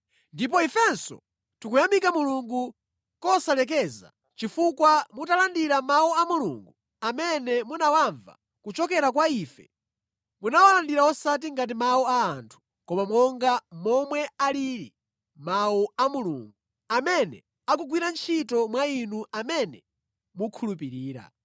Ndipo ifenso tikuyamika Mulungu kosalekeza chifukwa mutalandira Mawu a Mulungu, amene munawamva kuchokera kwa ife, munawalandira osati ngati mawu a anthu, koma monga momwe alili, Mawu a Mulungu, amene akugwira ntchito mwa inu amene mukhulupirira.